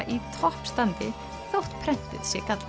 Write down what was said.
í toppstandi þótt prentið sé gallað